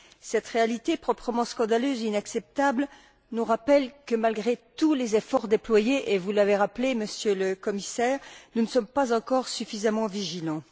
Cette réalité proprement scandaleuse et inacceptable nous rappelle que, malgré tous les efforts déployés et vous l'avez rappelé, Monsieur le Commissaire nous ne sommes pas encore suffisamment vigilants.